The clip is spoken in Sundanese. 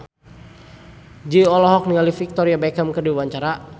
Jui olohok ningali Victoria Beckham keur diwawancara